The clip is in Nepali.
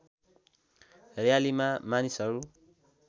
र्‍यालीमा मानिसहरू